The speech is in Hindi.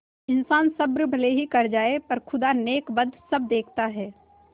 इन्सान सब्र भले ही कर जाय पर खुदा नेकबद सब देखता है